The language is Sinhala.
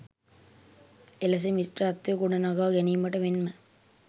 එලෙස මිත්‍රත්වය ගොඩනගා ගැනීමට මෙන්ම